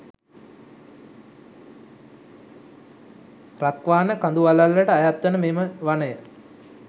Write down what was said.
රක්වාන කඳුවළල්ලට අයත්වන මෙම වනය